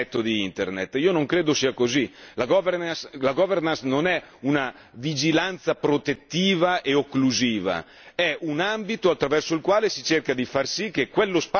La governance non è una vigilanza protettiva e occlusiva, è un ambito attraverso il quale si cerca di far sì che quello spazio sia uno spazio di occasione per tutti.